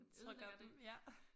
Trykker dem ja